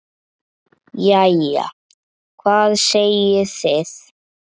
Jæja, hvað segið þið?